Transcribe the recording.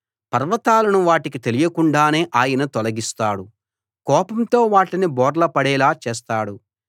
పర్వతాలను వాటికి తెలియకుండానే ఆయన తొలగిస్తాడు కోపంతో వాటిని బోర్లాపడేలా చేస్తాడు